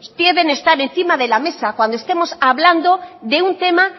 deben estar encima de la mesa cuando estemos hablando de un tema